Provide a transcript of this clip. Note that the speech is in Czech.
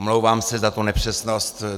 Omlouvám se za tu nepřesnost.